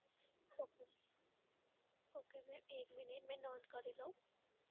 okay. okay બેન એક minute મે નોંધ કરી લઉં.